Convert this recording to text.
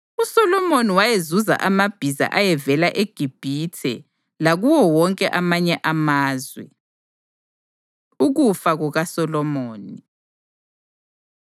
USolomoni wayezuza amabhiza ayevela eGibhithe lakuwo wonke amanye amazwe. Ukufa KukaSolomoni